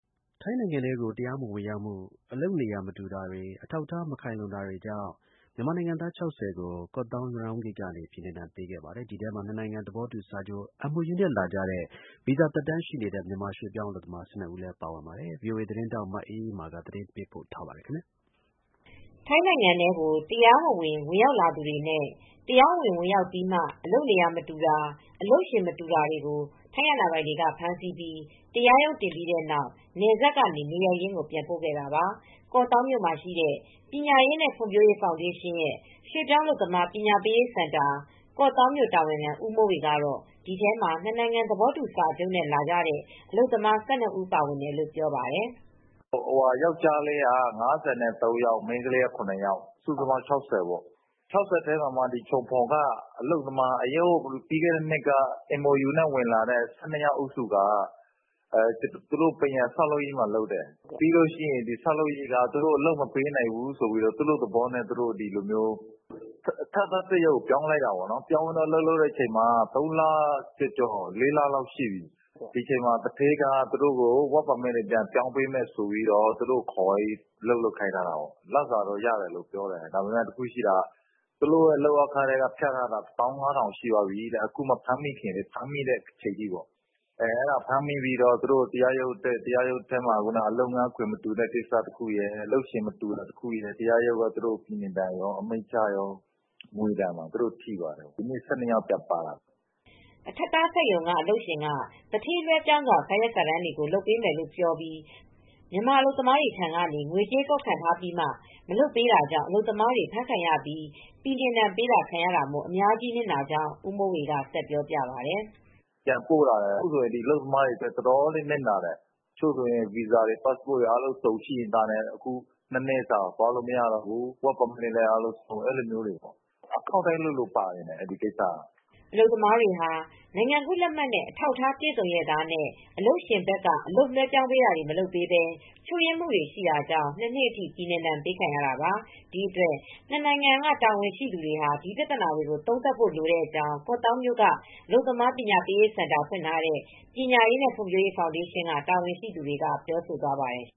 ထိုင်းနိုင်ငံထဲကို တရားမဝင် ဝင်ရောက်မူ အလုပ်နေရာ မတူတာတွေ အထောက်အထား မခိုင်လုံတွေကြောင့် မြန်မာနိုင်ငံသား ၆၀ကို ကော့သောင်း- ရနောင်းဂိတ်ကနေ ဇန်နဝါရီလ ၇ ရက်နေ့က ပြည်နှင်ဒဏ်ပေးခဲ့ပါတယ်။ ဒီထဲမှာနှစ်နိုင်ငံသဘောတူစာချုပ် (MOU) နဲ့ လာတဲ့ ဗီဇာသက်တမ်းရှိနေတဲ့ မြန်မာရွှေ့ပြောင်းအလုပ်သမား ၁၂ဦးလည်းပါဝင်ပါတယ်။ ဗွီအိုအေသတင်းထောက် မအေးအေးမာက သတင်းပေးပို့ ထားပါတယ် ထိုင်းနိုင်ငံထဲကို တရားမဝင် ဝင်ရောက်လာတဲ့သူတွေနဲ့ တရားဝင်လာပြီးမှာ အလုပ်နေရာမတူတာ၊ အလုပ်ရှင်မတူတာတွေကို ထိုင်းအာဏာပိုင်ဖမ်းဆီးပြီးတရားရုံးတင်ပြီးတဲ့နောက် နယ်စပ်ကနေ နေရပ်ရင်းကိုပြန်ပို့ခဲ့တာပါ။ ကော့သောင်းမှာရှိတဲ့ ပညာရေးနဲ့ ဖွံဖြိုးရေးဖောင်ဒေးရှင်း ရွှေ့ပြောင်း အလုပ်သမား ပညာပေးစင်တာ ကောင့်သောင်းမြို့တာဝန်ခံ ဦးမိုးဝေက တော့ ဒီထဲမှာ နှစ်နိုင်ငံ သဘာတူစာချုပ်နဲ့ လာတဲ့အလုပ်သမား ၁၂ဦးပါဝင်တယ်လို့ ပြောပါတယ်။ “ယောက်ကျားလေးက ၅၃ယောက် ၊မိန်းကလေးက ၇ ယောက်ပါတယ် စုစုပေါင်း ၆၀ပေါ့ ဒီ ၆၀ထဲမှာ မှချုံဖွန်က အလုပ်သမားတွေ ပြီးခဲ့တဲ့နှစ်က ဝင်လာတဲ့ MOU လုပ်သမား ၁၂ဦးဟာ ပန်းရံလုပ်တယ်။ အဲဒီဆောက်လုပ်ရေးက အလုပ်မပေးနိုင်ဘူးဆိုပြီး သူတို့သဘောနဲ့ သူတို့ အထပ်သားစက်ရုံပြောင်းလိုက်တယ်။ အလုပ်လုပ်တာ ၃ လကျော် ၄လ အထိအလုပ်လုပ်တာ ဒီအချိန်မှာ သူဌေးကအလုပ်သမား လက်မှတ်တွေပြောင်းပေးဆိုပြီး ခေါ်သွားပြီး အလုပ်လုပ်ခိုင်းထားတာ ပိုက်ဆံတော့ရတယ်ပြောတယ်။ ဒါပေမဲ့သူတို့လုပ်အားခထဲက ဖြတ်ထားတာ ၁၅၀၀၀ လောက်ရှိပြီတဲ့။ အခုဖမ်းမိတဲ့အချိန်ထိပေါ့။ ဖမ်းမိတော့ တရားရုံးတက်ရတယ် အလုပ်ရှင် မတူတာရယ် လုပ်ငန်းခွင်မတူတာရယ်နဲ့ သူတို့ကို တရားရုံးက အမိန်ချတော့ ငွေဒဏ်ကော ပြည်နှင်ဒဏ်ကော ထိသွားတယ် ဒီနေ့ ၁၂ယောက်ပါလာတယ်” အထပ်သားစက်ရုံကအလုပ်ရှင်က သူဌေးလွဲပြောင်းစာရွက်စာတမ်းတွေကို လုပ်ပေးမယ်ဆိုပြီး မြန်မာအလုပ်သမားများထံကနေ ငွေကြေးကောက်ခံထားပြီးမှ မလုပ်ပေးတာကြောင့် အလုပ်သမားတွေ ဖမ်းခံရပြီး ပြည်နှင်ဒဏ်ပေးခံရတာမို့ အများကြီးနစ်နာကြောင်း ဦးမိုးဝေကပြောပြပါတယ်။ “အလုပ်သမားတွေအများကြီးနစ်နာတယ် တချို့ဗီဇာတွေ ပတ်စပို့ (နိုင်ငံကူးလက်မှတ်)တွေရှိလျက်သားနဲ့အခု ၂နှစ်သွားလို့ မရတော့ဘူး အလုပ်သမားလက်မှတ်တွေလည်းဆုံးရှုံးတယ်။ အခုက အခေါက်တိုင်းလိုလိုပါတယ်။” အလုပ်သမားတွေဟာ နိုင်ငံကူးလက်မှတ်နဲ့ အထောက်အထားပြည်စုံရဲ့သားနဲ့ အလုပ်ရှင်ဘက်က အလုပ်လွဲပြောင်းတာတွေ မလုပ်ပေးပဲ ချို့ယွင်းမူတွေရှိတာကြောင့် ၂နှစ်အထိ ပြည်နှင်ဒဏ်ပေးခံရတာပါ။ ဒီအတွက်နှစ်နိုင်ငံတာဝန်ရှိသူတွေ ဒီပြဿနာတွေ သုံးသပ်ဖို့ လိုကြောင်း ကော့သောင်းမြို့မှာ အလုပ်သမားပညာရေးစင်တာ ဖွင့်ထားတဲ့ ပညာရေးနဲ့ဖွံဖြိုးရေးဖောင်ဒေးရှင်းက တာဝန်ရှိသူတွေက ပြောဆိုသွားပါတယ်